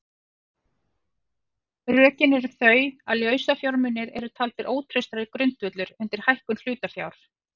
Rökin eru þau að lausafjármunir eru taldir ótraustari grundvöllur undir hækkun hlutafjár.